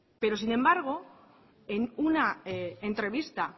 pero sin embargo en una entrevista